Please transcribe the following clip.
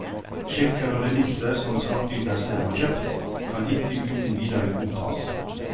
Sjekker og remisser som skattyter selv har kjøpt, kan ikke uten videre godtas.